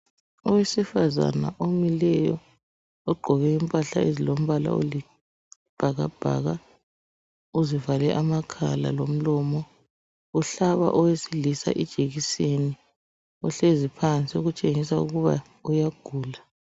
Owesifazana omileyo ogqoke impahla ezilombala olibhakabhaka ozivale amakhala lomlomo ohlaba owesilisa ijekiseni ohlezi phansi okutshengisa ukuba uyagula.